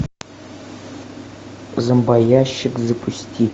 зомбоящик запусти